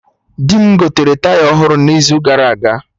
Di mụ gotere Taya ọhụrụ n'izu gara aga